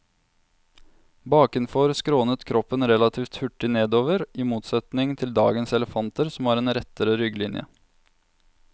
Bakenfor skrånet kroppen relativt hurtig nedover, i motsetning til dagens elefanter som har en rettere rygglinje.